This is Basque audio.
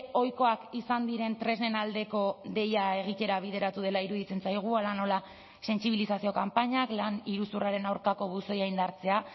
ohikoak izan diren tresnen aldeko deia egitera bideratu dela iruditzen zaigu hala nola sentsibilizazio kanpainak lan iruzurraren aurkako buzoia indartzea